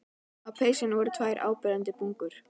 Á peysunni voru tvær áberandi bungur.